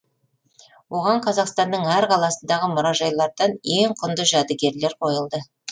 оған қазақстанның әр қаласындағы мұражайлардан ең құнды жәдігерлер қойылды